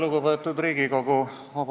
Lugupeetud Riigikogu!